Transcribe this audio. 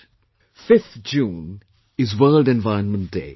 5th June is World Environment Day